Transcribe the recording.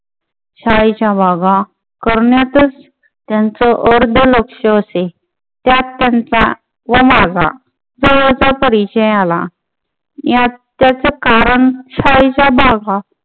शाळेच्या बागा करण्यातच त्यांचं अर्ध लक्ष असे. त्यात त्यांचा व माझा जवळचा परिचय आला. यात त्यांचं कारण शाळेच्या भागा